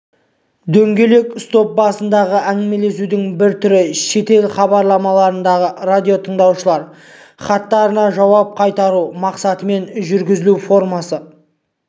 дөңгелек стол басындағы әңгімелесудің бір түрі шетел хабарларындағы радиотыңдаушылар хаттарына жауап қайыру мақсатымен жүргізілу формасы